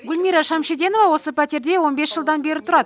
гүлмира шәмшиденова осы пәтерде он бес жылдан бері тұрады